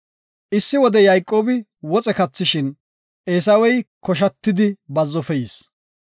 Issi wode Yayqoobi woxe kathishin, Eesawey koshatidi bazzofe yis.